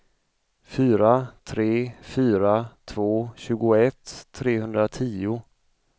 fyra tre fyra två tjugoett trehundratio